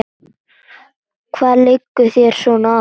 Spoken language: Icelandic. Hvað liggur þér svona á?